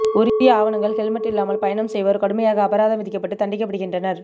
உரிய ஆவணங்கள் ஹெல்மட் இல்லாமல் பயணம் செய்வோர் கடுமையாக அபராதம் விதிக்கப்பட்டு தண்டிக்கப்படுகின்றனர்